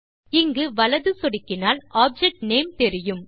இங்கு வலது சொடுக்கினால் ஆப்ஜெக்ட் நேம் தெரியும்